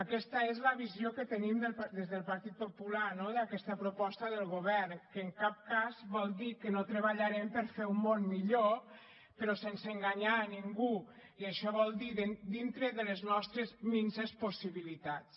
aquesta és la visió que tenim des del partit popular no d’aquesta proposta del govern que en cap cas vol dir que no treballarem per a fer un món millor però sense enganyar ningú i això vol dir dintre de les nostres minses possibilitats